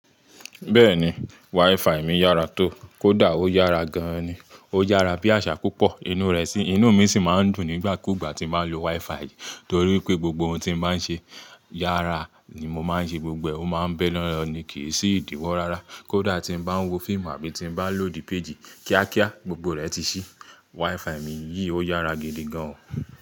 Beeni, Wifi mi yara to. Kódà ó yára gan ni. Ó yára bí àṣà púpọ̀. Inú rẹ̀ sì, inú mi sì máa ń dùn nígbà kú ìgbà tí n bàá n lo WiFi yìí. Nítorí pé gbogbo ohun tí n bàá ń ṣe yára ni mo máa ń ṣe gbogbo. Ó máa ń bẹ̀ na lọ́ ni. Kì í sì ìdíwọ́ rárá. Kódà tí m bá ń wo fíìmù àbí tí m bá lòdì péjì kíákíá, gbogbo rẹ̀ ti ṣí. WiFi mi yìí ó yára gidi gan.